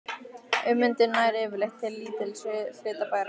Ummyndun nær yfirleitt til lítils hluta bergs.